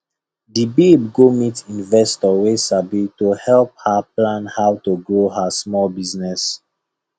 the babe go meet investor wey sabi to help her plan how to grow her small business